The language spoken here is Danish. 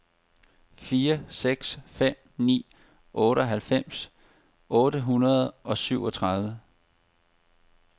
fire seks fem ni otteoghalvfems otte hundrede og syvogtredive